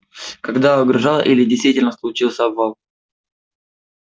когда угрожал или действительно случился обвал